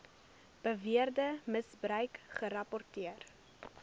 beweerde misbruik gerapporteer